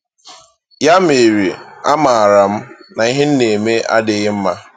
Ya mere, a maara m na ihe m na-eme adịghị mma.